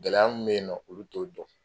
Gɛlɛya mun bɛ yen nɔn olu t'o dɔn.